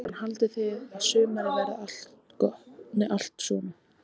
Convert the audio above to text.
Kristján: Haldið þið að sumarið verið allt svona?